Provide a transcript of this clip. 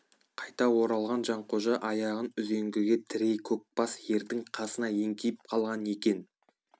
қайта оралған жанқожа аяғын үзеңгіге тірей көк бас ердің қасына еңкейіп қалған екен